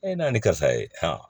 Ee n'a ni karisa ye